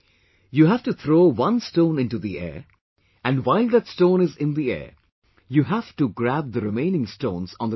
You've to throw one stone into the air and while that stone is in the air, you have to grab the remaining stones on the ground